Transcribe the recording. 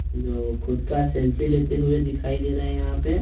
जो खुद का सेल्फी लेते हुए दिखाई दे रहा है यहां पे--